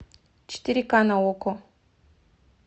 четыре ка на окко